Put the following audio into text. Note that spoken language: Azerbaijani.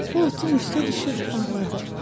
O otun üstə düşüb ağladı.